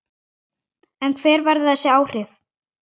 En hver verða þessi áhrif?